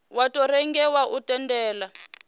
wa tou rengiwa u tendela